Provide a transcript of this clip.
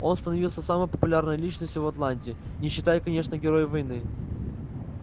он становился самой популярной личностью в атланте не считая конечно героев войны